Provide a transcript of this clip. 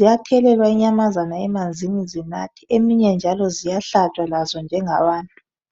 ziyathelelwa inyamazana emanzini zinathe eminye njalo ziyahlatshwa lazo njengabantu